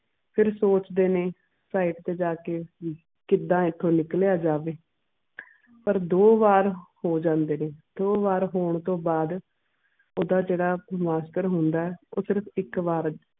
ਫੇਰ ਸੋਚਦੇ ਨੇ side ਤੇ ਜਾ ਕੇ ਵੀ ਕਿੱਦਾਂ ਇਥੋਂ ਨਿਕਲਿਆ ਜਾਵੇ ਪਰ ਦੋ ਵਾਰ ਹੋ ਜਾਂਦੇ ਨੇ ਦੋ ਵਾਰ ਹੋਣ ਤੋਂ ਬਾਅਦ ਓਹਦਾ ਜਿਹੜਾ ਬ੍ਰਹਮਸਤਰ ਹੁੰਦਾ ਆ ਉਹ ਸਿਰਫ ਇੱਕ ਵਾਰ